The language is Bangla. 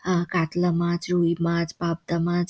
আহ কাতলা মাছ রুইমাছ পাবদা মাছ --